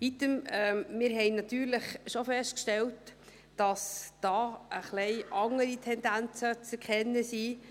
Wir haben natürlich schon festgestellt, dass da ein wenig andere Tendenzen zu erkennen sind.